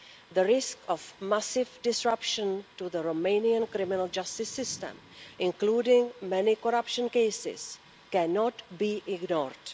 The risk of massive disruption to the Romanian criminal justice system, including many corruption cases, cannot be ignored.